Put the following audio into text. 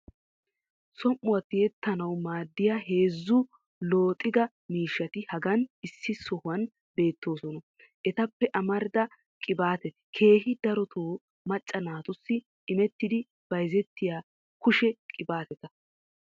som'uwa tiyettanawu maadiya heezzu looxxiga miishshati hagan issi sohuwan beetoisona. etape amarida qibaatetti keehi daroto macca naatussi immettidi bayzzetiya kushshe qibaatetta.